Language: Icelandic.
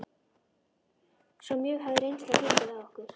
Svo mjög hafði reynslan fengið á okkur.